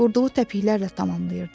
Vurduğu təpiklər ilə tamamlayırdı.